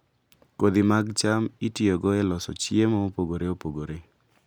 Kodhi mag cham itiyogo e loso chiemo mopogore opogore.